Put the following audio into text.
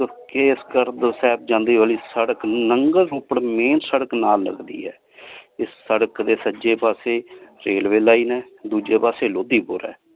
ਕੇਸਗੜ੍ਹ ਸਾਹਿਬ ਜਾਂਦੇ ਵਾਲੀ ਸੜਕ ਨੰਗਲ ਉਪਰ main ਸੜਕ ਨਾਲ ਲਗਦੀ ਹੈ ਇਸ ਸੜਕ ਦੇ ਸੱਜੇ ਪਾਸੇ railway line ਹੈ ਦੂਜੇ ਪਾਸੇ ਲੋਧੀਪੁਰ ਹੈ।